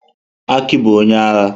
Aki bụ onye agha.